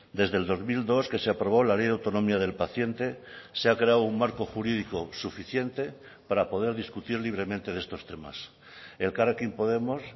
desde el dos mil dos que se aprobó la ley de autonomía del paciente se ha creado un marco jurídico suficiente para poder discutir libremente de estos temas elkarrekin podemos